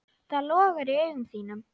Það logar í augum þínum.